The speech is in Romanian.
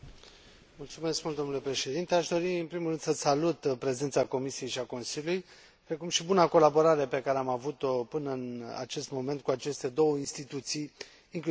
Aș dori, în primul rând, să salut prezența Comisiei și a Consiliului, precum și buna colaborare pe care am avut o până în acest moment cu aceste două instituții, inclusiv în redactarea acestei rezoluții.